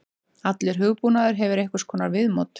Allur hugbúnaður hefur einhvers konar viðmót.